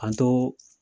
An to